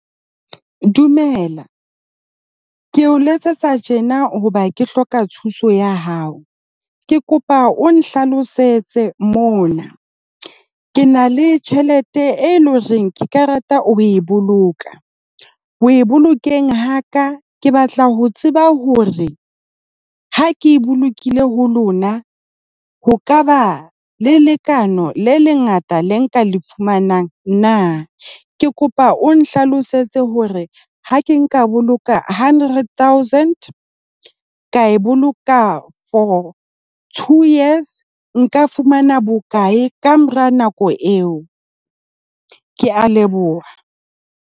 Dumela, ke o letsetsa tjena hoba ke hloka thuso ya hao. Ke kopa o nhlalosetse mona. Ke na le tjhelete e loreng ke ka rata ho e boloka, ho e bolokehe ha ka, ke batla ho tseba hore ha ke e bolokile ho lona ho ka ba le lekana le lengata le nka le fumanang na. Ke kopa o nhlalosetse hore ha ke nka boloka hundred thousand ka e boloka for two years nka fumana bokae ka mora nako eo. Ke a leboha.